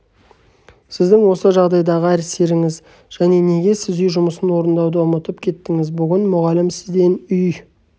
сіздің осы жағдайдағы әсеріңіз және неге сіз үй жұмысын орындауды ұмытып кеттіңіз бүгін мұғалім сізден үй